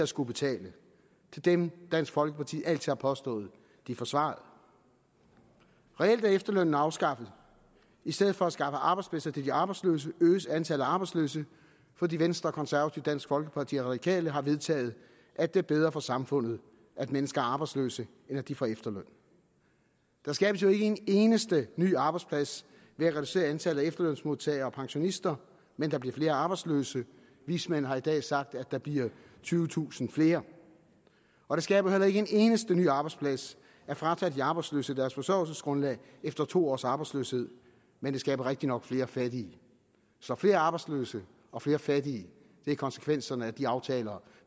skullet betale til dem dansk folkeparti altid har påstået de forsvarede reelt er efterlønnen afskaffet i stedet for at skaffe arbejdspladser til de arbejdsløse øges antallet af arbejdsløse fordi venstre konservative dansk folkeparti og de radikale har vedtaget at det er bedre for samfundet at mennesker er arbejdsløse end at de får efterløn der skabes jo ikke en eneste ny arbejdsplads ved at reducere antallet af efterlønsmodtagere og pensionister men der bliver flere arbejdsløse vismænd har i dag sagt at der bliver tyvetusind flere og det skaber heller ikke en eneste ny arbejdsplads at fratage de arbejdsløse deres forsørgelsesgrundlag efter to års arbejdsløshed men det skaber rigtig nok flere fattige så flere arbejdsløse og flere fattige er konsekvenserne af de aftaler